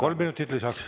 Kolm minutit lisaks.